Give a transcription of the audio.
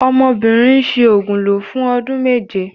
Ọmọbìnrin ń ṣi òògùn lò fún ọdún méje.